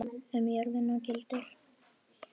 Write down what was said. Um jörðina gildir